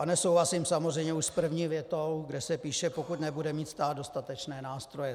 A nesouhlasím samozřejmě už s první větou, kde se píše "pokud nebude mít stát dostatečné nástroje".